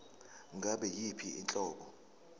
ngabe yiyiphi inhlobo